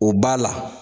O b'a la